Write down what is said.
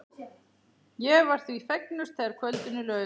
Ég var því fegnust þegar kvöldinu lauk.